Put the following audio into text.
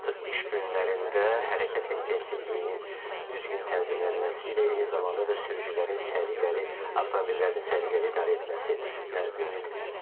Artıq iş günlərində hərəkət intensivliyinin düzgün tənzimlənməsi ilə eyni zamanda da sürücülərin səliqəli, avtomobillərini səliqəli idarə etməsinə ümid qalır.